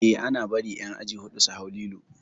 Eh ana bari ƴan aji huɗu su hau lilo